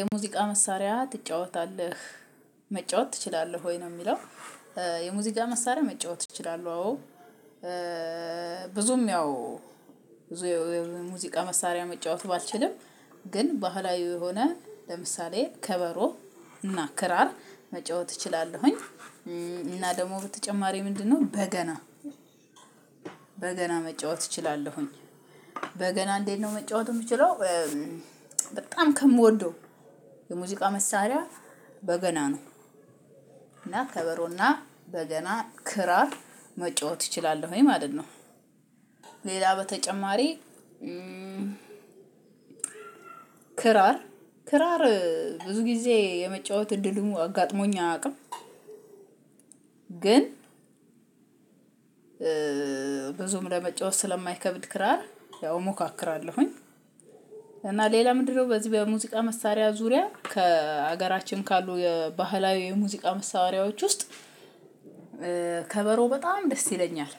የሙዚቃ መሳሪያ ትጫወታለህ መጫወት ትችላለህ ወይ ነው የሚለው? የሙዚቃ መሳሪያ መጫወት ትችላለህ አዎ። ብዙም ያው ሙዚቃ መሳሪያ መጫወቱ ባልችልም ግን ባህላዊ የሆነ ለምሳሌ ከበሮ እና ክራር መጫወት እችላለሁኝ። እና ደግሞ በተጨማሪ ምንድነው በገና በገና መጫወት እችላለሁኝ። በገና እንዴት ነው መጫወቱ የምችለው በጣም ከምወደው የሙዚቃ መሳሪያ በገና ነው። እና ከበሮና በገና ክራር መጫወት እችላለሁኝ ወይ ማለት ነው። ሌላ በተጨማሪ ክራር ክራር ብዙ ጊዜ የመጫወት እድሉን አጋጥሞኝ አያውቅም። ግን ብዙም ለመጫወት ስለማይከብድ ክራር ያው እሞካክራለሁኝ። እና ሌላ ምንድነው በዚህ በሙዚቃ መሳሪያ ዙሪያ ከሀገራችን ካሉ የባህላዊ የሙዚቃ መሳወሪያዎች ውስጥ ከበሮ በጣም ደስ ይለኛል።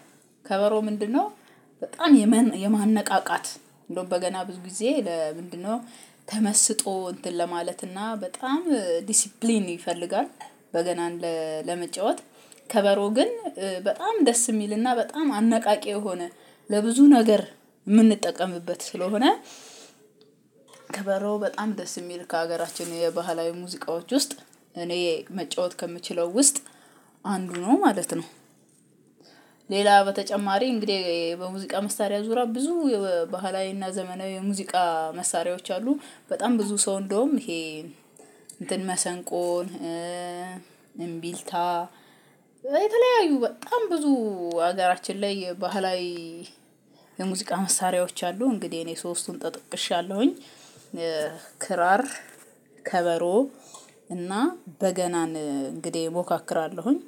ከበሮ ምንድነው በጣም የማንነቃቃት እንደውም በገና ብዙ ጊዜ ለምንድነው ተመስጦ እንትን ለማለትና በጣም ዲሲፕሊን ይፈልጋል። በገና ለመጫወት ከበሮ ግን በጣም ደስ የሚልና በጣም አነቃቂ የሆነ ለብዙ ነገር የምንጠቀምበት ስለሆነ። ከበሮ በጣም ደስ የሚል ከሀገራችን የባህላዊ ሙዚቃዎች ውስጥ እኔ መጫወት ከምችለው ውስጥ አንዱ ነው ማለት ነው። ሌላ በተጨማሪ እንግዲህ በሙዚቃ መሳሪያ ዙራ ብዙ ባህላዊና ዘመናዊ የሙዚቃ መሳሪያዎች አሉ። በጣም ብዙ ሰው እንደውም ይሄ እንትን መሰንቆን እምቢልታ የተለያዩ በጣም ብዙ ሀገራችን ላይ ባህላዊ የሙዚቃ መሳሪያዎች አሉ። እንግዲህ እኔ ሶስቱን ጠቅሻለሁኝ ክራር ከበሮ እና በገናን እንግዲህ እሞካክራለሁኝ